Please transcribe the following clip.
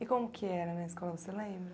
E como que era a escola, você lembra?